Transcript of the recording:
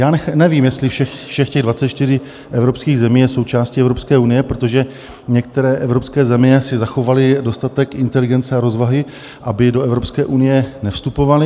Já nevím, jestli všech těch 24 evropských zemí je součástí Evropské unie, protože některé evropské země si zachovaly dostatek inteligence a rozvahy, aby do Evropské unie nevstupovaly.